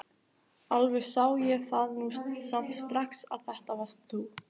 Alveg sá ég það nú samt strax að þetta varst þú!